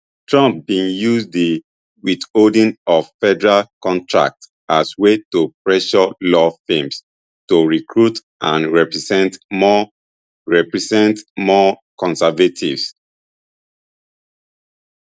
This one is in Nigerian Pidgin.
trump bin use di withholding of federal contracts as way to pressure law firms to recruit and represent more represent more conservatives